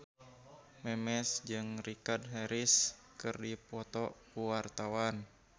Memes jeung Richard Harris keur dipoto ku wartawan